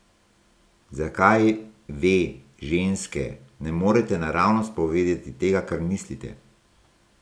Zakaj, ve, ženske, ne morete naravnost povedati tega, kar mislite?